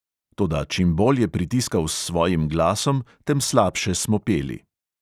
Toda čim bolj je pritiskal s svojim glasom, tem slabše smo peli.